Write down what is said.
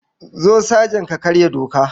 Zo sajan ka karya doka.